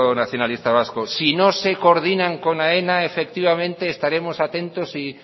nacionalista vasco si no se coordinan con aena efectivamente estaremos atentos y